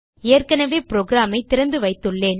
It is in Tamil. ஏற்கனவே programஐ திறந்துவைத்துள்ளேன்